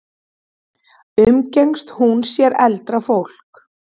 Umgengst hún sér eldra fólk?